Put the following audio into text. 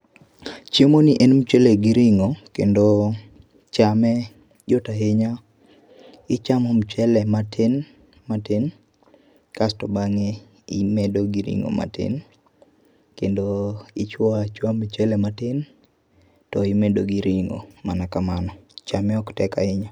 Chiemo ni en mchele gi ringo kendo chame yot ahinya ,i chamo mchele matin matin kasto bange imedo gi ringo matin kendo i chuoyo achuoya mchele matin to imedo gi ringo mana kamano. Chame ok tek ahinya.